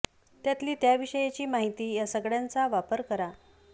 त्यातली त्या विषयाची माहिती या सगळ्यांचा वापर करा